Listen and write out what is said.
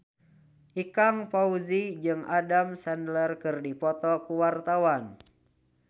Ikang Fawzi jeung Adam Sandler keur dipoto ku wartawan